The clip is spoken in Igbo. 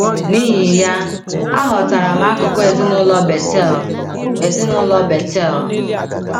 N’ihi ya, aghọtara m akụkụ ezinụlọ Bethel. ezinụlọ Bethel.